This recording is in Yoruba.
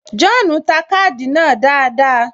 John ta káàdì náà dáadáa